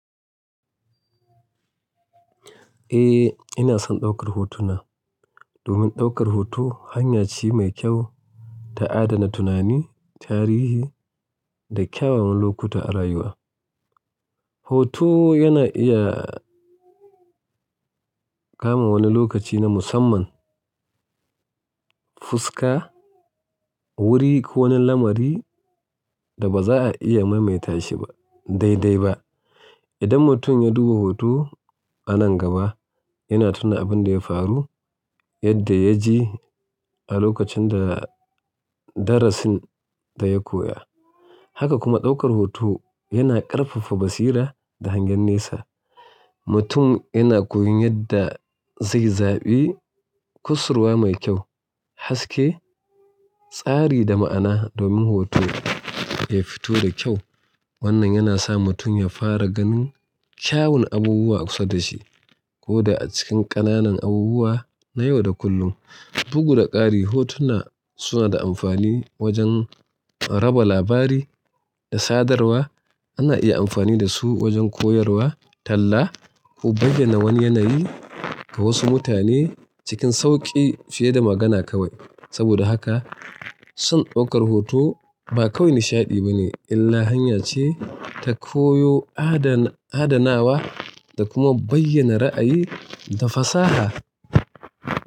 Eh, ina son ɗaukar hotuna. Domin ɗaukar hoto hanya ce mai kyau ta adana tunani, tarihi da kyawawan lokuta a rayuwa. Hoto yana iya kama wani lokaci na musamman, fuska, wuri ko wani lamari da ba za a iya maimaita shiba daidai ba idan mutum ya duba hoto a nan gaba. Yana tuna abin da ya faru, yadda ya ji a lokacin da darasin da ya koya. Haka kuma ɗaukar hoto yana ƙarfafa basira da hangen nesa. Mutum yana koyon yadda zai zaɓi kusurwa mai kyau, haske, tsari da ma'ana domin hoto ya fito da kyau. Wannan yana sa mutum ya fara ganin kyawun abubuwa kusa da shi ko da a cikin ƙananan abubuwa na yau da kullum. Bugu da ƙari, hotuna suna da amfani wajen raba labari da sadarwa. Ana iya amfani da su wajen koyarwa, talla ko bayyana wani yanayi ga wasu mutane cikin sauƙi fiye da magana kawai. Saboda haka son ɗaukar hoto ba kawai nishaɗi ba ne, illa hanya ce ta koyo, adanawa da kuma bayyana ra'ayi da fasaha.